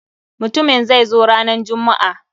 Mutumin zai zo ranan jummu'a.